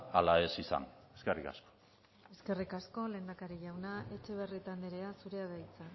ala ez izan eskerrik asko eskerrik asko lehendakari jauna etxebarrieta andrea zurea da hitza